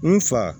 N fa